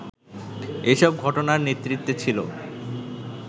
এসব ঘটনার নেতৃত্বে ছিল